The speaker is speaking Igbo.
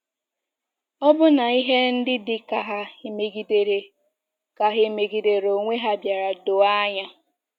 Ọbụna ihe ndị dị ka ha emegidere ka ha emegidere onwe ha bịara doo anya.